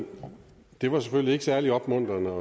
det var selvfølgelig ikke særlig opmuntrende